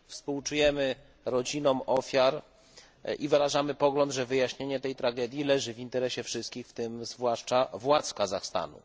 Współczujemy rodzinom ofiar i wyrażamy pogląd, że wyjaśnienie tej tragedii leży w interesie wszystkich, w tym zwłaszcza władz Kazachstanu.